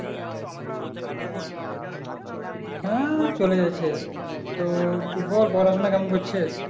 হ্যাঁ চলে যাচ্ছে তো বল পড়াশোনা কেমন করচ্ছে